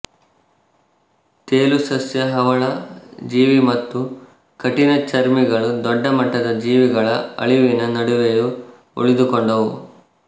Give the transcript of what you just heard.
ತೇಲುಸಸ್ಯ ಹವಳ ಜೀವಿ ಮತ್ತು ಕಠಿಣಚರ್ಮಿಗಳು ದೊಡ್ಡ ಮಟ್ಟದ ಜೀವಿಗಳ ಅಳಿವಿನ ನಡುವೆಯೂ ಉಳಿದುಕೊಂಡವು